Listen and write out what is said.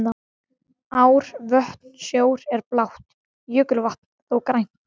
Ár, vötn og sjór er blátt, jökulvatn þó grænt.